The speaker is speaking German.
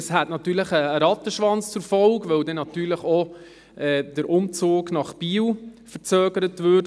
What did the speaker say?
Das hätte natürlich einen Rattenschwanz zur Folge, weil dann auch der Umzug nach Biel verzögert werden würde.